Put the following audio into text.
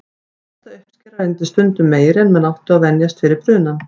Næsta uppskera reynist stundum meiri en menn áttu að venjast fyrir brunann.